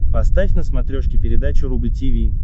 поставь на смотрешке передачу рубль ти ви